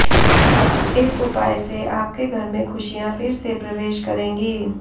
इस उपाय से आपके घर में खुशियाँ फिर से प्रवेश करेंगी